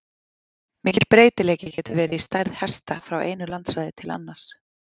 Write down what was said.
Mikill breytileiki getur verið í stærð hesta frá einu landssvæði til annars.